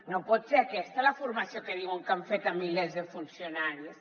no pot ser aquesta la formació que diuen que han fet a milers de funcionaris